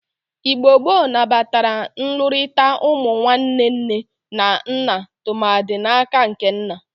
Igbo gboo nabatara nlụrịkọta ụmụ ụmụnwanne nne na nna tụmadị n'aka nke nna.